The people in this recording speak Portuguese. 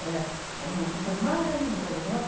Era uma pessoa maravilhosa, nossa.